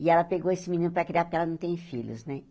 E ela pegou esse menino para criar porque ela não tem filhos, né?